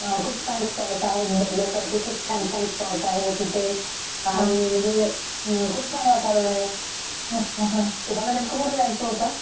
खूप छान स्पॉट आहेत बघण्या सारखे खूप छान छान स्पॉट आहेत तिथे आणि म्हणजे खूप छान वातावरण आहे . तुम्हाला नेमकं कुठे जायचं होत ?